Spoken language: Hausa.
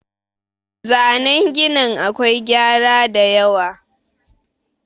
zanen ginin akwai gyara da yawa